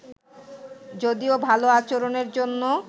যদিও ভালো আচরণের জন্য